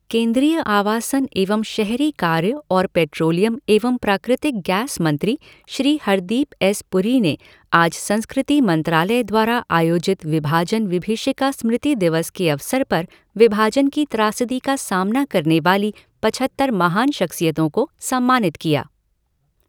केंद्रीय आवासन एवं शहरी कार्य और पेट्रोलियम एवं प्राकृतिक गैस मंत्री श्री हरदीप एस पुरी ने आज संस्कृति मंत्रालय द्वारा आयोजित विभाजन विभीषिका स्मृति दिवस के अवसर पर विभाजन की त्रासदी का सामना करने वाली पछत्तर महान शख़्सियतों को सम्मानित किया।